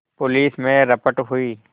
police में रपट हुई